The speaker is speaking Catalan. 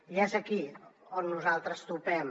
i és aquí on nosaltres topem